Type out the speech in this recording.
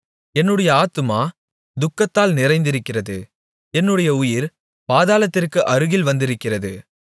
என்னுடைய ஆத்துமா துக்கத்தால் நிறைந்திருக்கிறது என்னுடைய உயிர் பாதாளத்திற்கு அருகில் வந்திருக்கிறது